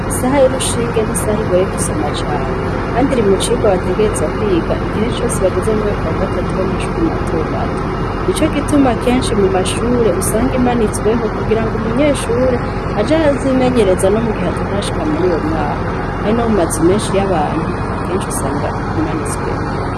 Isaha irushinge n'isaha igoye gusoma cane, kandi iri mucirwa bategezwa kwiga igihe cose bageze mu mwaka wa gatatu w'amashuri matomato ni co gituma kenshi mu mashure usanga imanitsweho kugira ngo umunyeshure aje arazimenyereza no mu gihe atashashika muri uwo mwaka, kandi no mumaze umenshi y'abantu aba kenshi usanga imanitsweho.